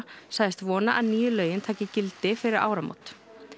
sagðist vona að nýju lögin taki gildi fyrir áramót